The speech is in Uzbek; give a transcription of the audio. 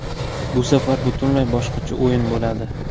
Bu safar butunlay boshqacha o‘yin bo‘ladi”.